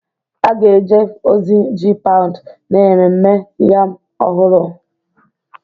A ga-eje ozi ji paụnd na Ememme Yam Ọhụrụ